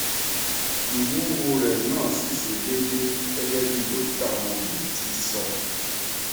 iwuwo re na si se dede gege bi dokita omode ti so